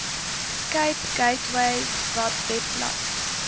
cape gateway webblad